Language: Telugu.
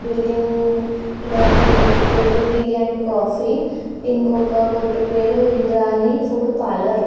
బిల్డింగ్ లో ఒక కొట్టు పేరు టీ అండ్ కాఫీ ఇంకొక కొట్టు పేరు ఇంద్రాణి ఫుడ్ పార్లర్.